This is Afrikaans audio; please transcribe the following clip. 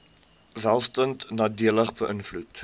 welstand nadelig beïnvloed